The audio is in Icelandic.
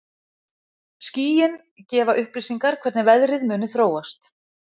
Skýin gefa upplýsingar hvernig veðrið muni þróast.